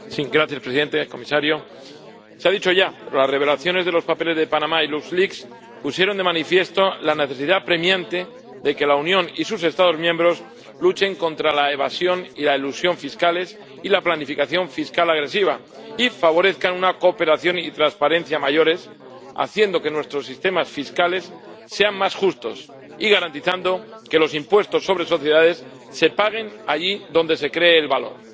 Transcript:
Señor presidente, comisario. Se ha dicho ya las revelaciones de los papeles de Panamá y de Lux Leaks pusieron de manifiesto la necesidad apremiante de que la Unión y sus Estados miembros luchen contra la evasión y la elusión fiscales y la planificación fiscal agresiva y favorezcan una cooperación y transparencia mayores, haciendo que nuestros sistemas fiscales sean más justos y garantizando que los impuestos sobre sociedades se paguen allí donde se cree el valor.